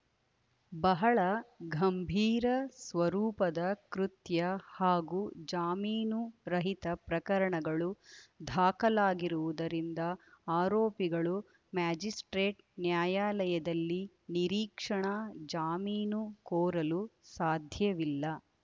ಬಹಳ ಗಂಭೀರ ಸ್ವರೂಪದ ಕೃತ್ಯ ಹಾಗೂ ಜಾಮೀನು ರಹಿತ ಪ್ರಕರಣಗಳು ದಾಖಲಾಗಿರುವುದರಿಂದ ಆರೋಪಿಗಳು ಮ್ಯಾಜಿಸ್ಪ್ರೇಟ್‌ ನ್ಯಾಯಾಲಯದಲ್ಲಿ ನಿರೀಕ್ಷಣಾ ಜಾಮೀನು ಕೋರಲು ಸಾಧ್ಯವಿಲ್ಲ